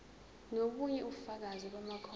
nobunye ubufakazi bamakhono